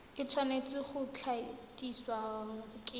e tshwanetse go tlatsiwa ke